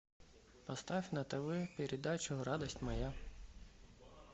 поставь на тв передачу радость моя